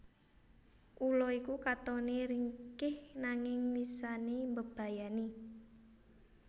Ula iku katone ringkih nanging wisane mbebayani